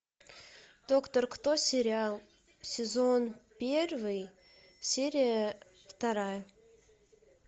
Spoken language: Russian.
доктор кто сериал сезон первый серия вторая